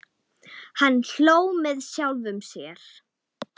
Hann hló með sjálfum sér.